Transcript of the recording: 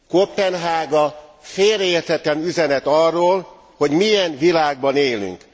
Koppenhága félreérthetetlen üzenet arról, hogy milyen világban élünk.